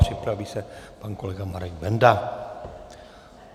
Připraví se pan kolega Marek Benda.